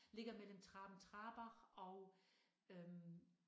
Ligger mellem Traben-Trarbach og øh